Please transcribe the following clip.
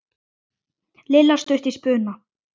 Lilla stutt í spuna.